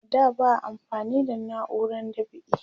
a da ba a amfani da nauran dab'i